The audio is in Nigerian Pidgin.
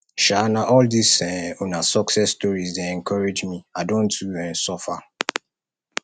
um na all dis um una success stories dey encourage me i don too um suffer